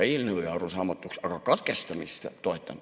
Eelnõu jäi arusaamatuks, aga katkestamist toetan.